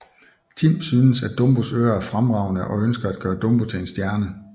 Tim synes at Dumbos ører er fremragende og ønsker at gøre Dumbo til en stjerne